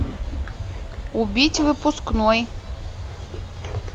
убить выпускной